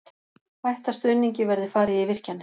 Hætta stuðningi verði farið í virkjanir